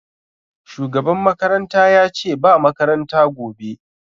Shugaban makaranta yace ce ba makaranta gobe